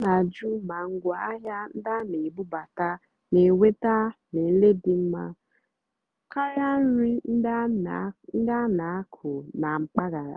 ọ́ nà-àjụ́ mà ngwáàhịá ndí á nà-èbúbátá nà-ènwètá nlèlé dì mmá kàrị́á nrì ndí á nà-ákụ́ nà mpàgàrà.